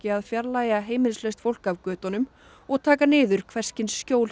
að fjarlægja heimilislaust fólk af götunum og taka niður hvers kyns skjól